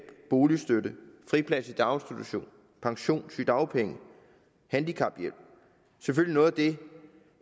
boligstøtte friplads i daginstitution pension sygedagpenge og handicaphjælp selvfølgelig noget